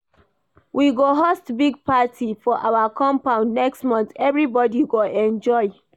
We go host big party for our compound next month, everybodi go enjoy